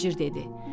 Tacir dedi.